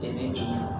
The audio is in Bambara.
Tɛ